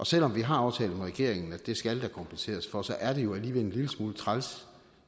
selv om vi har aftalt med regeringen at det skal der kompenseres for så er det jo alligevel en lille smule træls